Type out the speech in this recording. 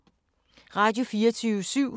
Radio24syv